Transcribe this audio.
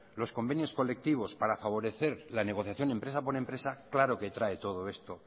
los convenios colectivos para favorecer la negociación empresa por empresa claro que trae todo esto